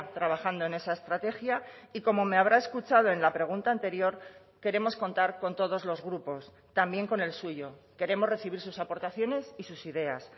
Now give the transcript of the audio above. trabajando en esa estrategia y como me habrá escuchado en la pregunta anterior queremos contar con todos los grupos también con el suyo queremos recibir sus aportaciones y sus ideas